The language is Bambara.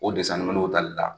O desɛn tali la